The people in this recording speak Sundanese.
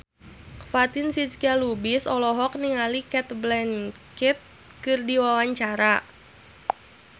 Fatin Shidqia Lubis olohok ningali Cate Blanchett keur diwawancara